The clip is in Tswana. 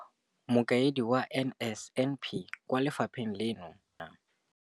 Mokaedi wa NSNP kwa lefapheng leno, Neo Rakwena.